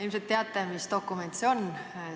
Ilmselt teate, mis dokument see on.